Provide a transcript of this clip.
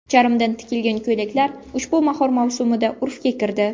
Charmdan tikilgan ko‘ylaklar ushbu bahor mavsumida urfga kirdi.